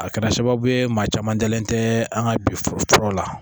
A kɛra sababu ye maa caman dalen tɛ an ka bi fɔlɔ la